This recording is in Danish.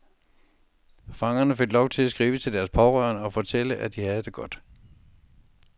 Fangerne fik lov til at skrive til deres pårørende og fortælle, at de havde det godt.